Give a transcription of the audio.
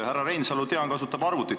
Härra Reinsalu, tean, kasutab arvutit.